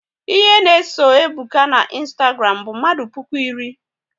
Ihe na eso Ebuka na Ịnstagram bụ mmadụ puku iri